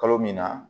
Kalo min na